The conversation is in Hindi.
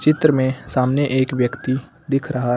उधर में सामने एक व्यक्ति दिख रहा है।